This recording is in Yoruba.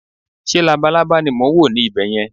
ṣe labalábá ni mo n wo ni ibè yẹn